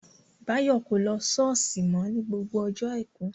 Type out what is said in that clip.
Báyọ̀ kò lọ ṣọ́ọ̀ṣì mọ́ ni gbogbo ọjọ́ àìkú